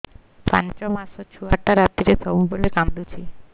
ପାଞ୍ଚ ମାସ ଛୁଆଟା ରାତିରେ ସବୁବେଳେ କାନ୍ଦୁଚି